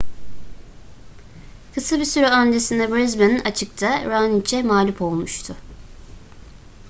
kısa bir süre öncesinde brisbane açık'ta raonic'e mağlup olmuştu